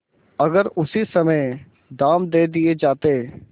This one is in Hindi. अगर उसी समय दाम दे दिये जाते